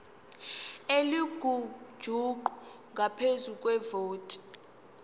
elingujuqu ngaphezu kwevoti